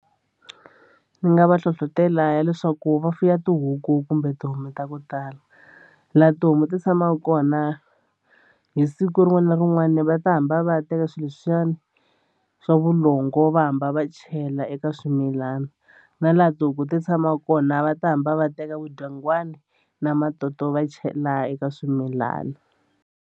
Ni nga va hlohlotela leswaku va fuya tihuku kumbe tihomu ta ku tala laha tihomu ti tshamaka kona hi siku rin'wana na rin'wana va ta hamba va teka swilo leswiyani swa vulongo va hamba va chela eka swimilana na laha tihuku ti tshama kona va ta hamba va teka vudyangwani na matoto va chela eka swimilana.